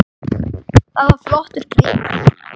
Það var flottur gripur.